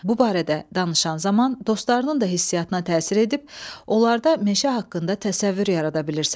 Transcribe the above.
Bu barədə danışan zaman dostlarının da hissiyatına təsir edib, onlarda meşə haqqında təsəvvür yarada bilirsən.